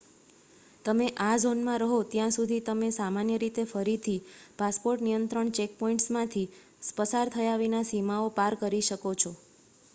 તમે આ ઝોનમાં રહો ત્યાં સુધી તમે સામાન્ય રીતે ફરીથી પાસપોર્ટ નિયંત્રણ ચેકપૉઇન્ટ્સમાંથી પસાર થયા વિના સીમાઓ પાર કરી શકો છો